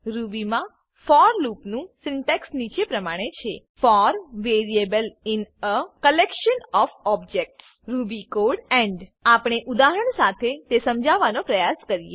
Ruby મા for લૂપનું syntax નીચે પ્રમાણે છે for variable in a collection of objects Ruby code end આપણે ઉદાહરણ સાથે તે સમજવાનો પ્રયાસ કરીએ